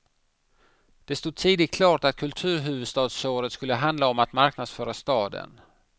Det stod tidigt klart att kulturhuvudstadsåret skulle handla om att marknadsföra staden.